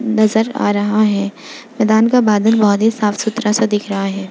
नजर आ रहा है मैंदान का बादल बहुत ही साफ़ सुथरा से दिख रहा है।